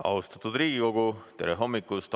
Austatud Riigikogu, tere hommikust!